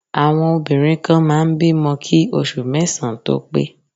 Àwọn obìnrin kan máa ń bímọ kí oṣù mẹ́sàn-án tó pé